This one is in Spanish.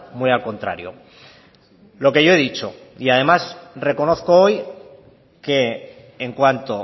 muy al contrario lo que yo he dicho y además reconozco hoy que en cuanto